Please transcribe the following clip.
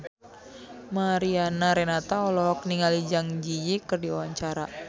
Mariana Renata olohok ningali Zang Zi Yi keur diwawancara